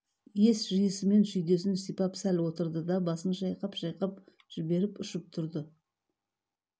ес жиысымен шүйдесін сипап сәл отырды да басын шайқап-шайқап жіберіп ұшып тұрды